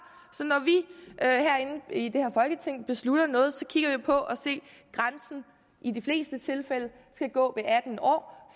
så når vi inde i det her folketing beslutter noget kigger vi på at grænsen i de fleste tilfælde skal gå ved atten år